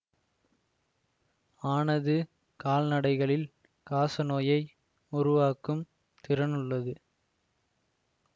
ஆனது கால்நடைகளில் காசநோயை உருவாக்கும் திறனுள்ளது